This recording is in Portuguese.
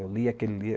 Eu lia aquele